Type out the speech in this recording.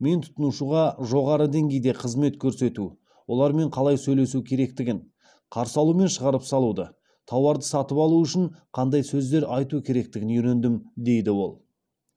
мен тұтынушыға жоғарғы деңгейде қызмет көрсету олармен қалай сөйлесу керектігін қарсы алу мен шығарып салуды тауарды сатып алу үшін қандай сөздер айту керектігін үйрендім дейді ол